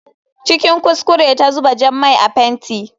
Cikin kuskure ta zuba jan mai a fenti.